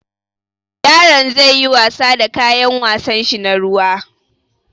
Yaron zai yi wasa da kayan wasanshi na ruwa.